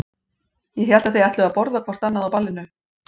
Ég hélt að þið ætluðuð að borða hvort annað á ballinu.